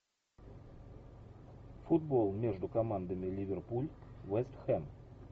футбол между командами ливерпуль вест хэм